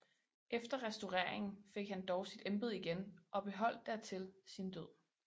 Efter restaureringen fik han dog sit embede igen og beholdt dertil sin Død